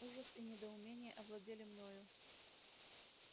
ужас и недоумение овладели мною